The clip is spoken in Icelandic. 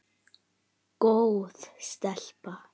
Góð stelpa.